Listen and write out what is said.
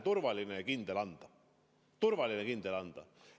E-hääl on turvaline ja kindel anda.